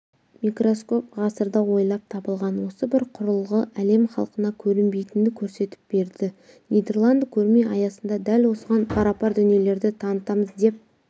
микроскоп ғасырда ойлап табылған осы бір құрылғы әлем халқына көрінбейтінді көрсетіп берді нидерланды көрме аясында дәл осыған парапар дүниелерді танытамыз деп